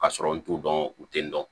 Ka sɔrɔ n t'u dɔn u tɛ n dɔn